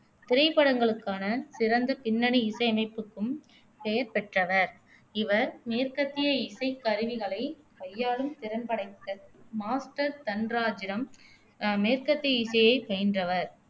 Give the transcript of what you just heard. திரைப்படங்களுக்கான சிறந்த பின்னணி இசையமைப்புக்கும் பெயர் பெற்றவர் இவர் மேற்கத்திய இசைக் கருவிகளை கையாளும் திறன்படைத்த மாஸ்டர் தன்ராஜிடம் அஹ் மேற்கத்திய இசையைப் பயின்றவர்